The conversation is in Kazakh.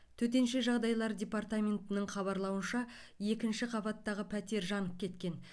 төтенше жағдайлар департаментінің хабарлауынша екінші қабаттағы пәтер жанып кеткен